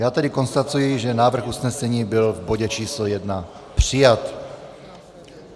Já tedy konstatuji, že návrh usnesení byl v bodě č. 1 přijat.